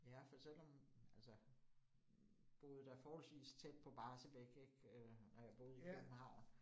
Ja, for selvom altså boede da forholdsvis tæt på Barsebäck ik øh, når jeg boede i København